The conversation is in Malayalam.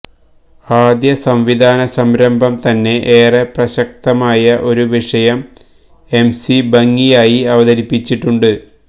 ആദ്യസംവിധാന സംരംഭം തന്നെ ഏറെ പ്രസക്തമായ ഒരു വിഷയം എംസി ഭംഗിയായി അവതരിപ്പിച്ചുണ്ട്